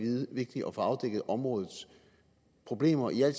vigtigt at få afdækket områdets problemer i al